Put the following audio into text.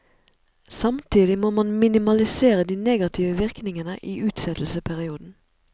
Samtidig må man minimalisere de negative virkningene i utsettelsesperioden.